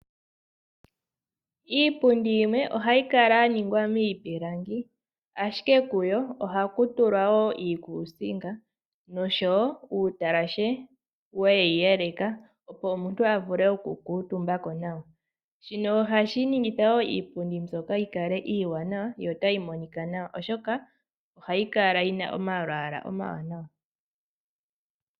Iipundi yimwe ohayi kala yaningwa miipilangi, ashike kuyo ohakutulwa woo iikusinga noshowo uutalashe weyi yeleka opo omuntu avule oku kuutumba ko nawa. Shino ohashi ningitha woo iipundi mbyoka yikale iiwanawa yo otayi Monika nawa oshoka ohayi kala yi na omalwaala taga monika nawa.